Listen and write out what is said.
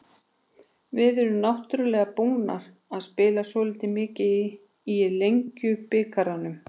Við erum náttúrulega búnar að spila svolítið mikið í Lengjubikarnum.